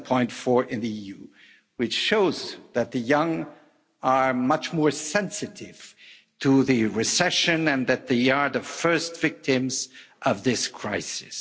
7.4 in the EU, which shows that the young are much more sensitive to the recession and that they are the first victims of this crisis.